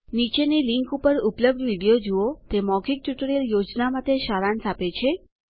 નીચેની લીંક ઉપર ઉપલબ્ધ વિડીયો જુઓ તે મૌખિક ટ્યુટોરીયલ યોજના માટે સારાંશ આપે છે